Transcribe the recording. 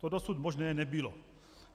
To dosud možné nebylo.